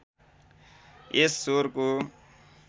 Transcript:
यस स्वरको